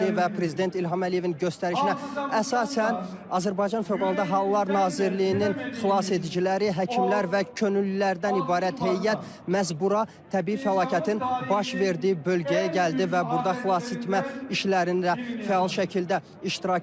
Və prezident İlham Əliyevin göstərişinə əsasən, Azərbaycan fövqəladə hallar Nazirliyinin xilasediciləri, həkimlər və könüllülərdən ibarət heyət məhz bura təbii fəlakətin baş verdiyi bölgəyə gəldi və burada xilasetmə işlərində fəal şəkildə iştirak elədi.